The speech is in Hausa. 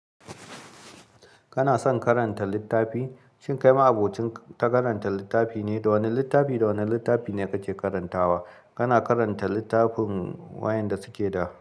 Kana son karanta littafi? Shin kai ma abokin ta karanta littafi ne? Wane littafi, wane littafi ne kake karantawa? Kana karanta littafin wayanda suke da.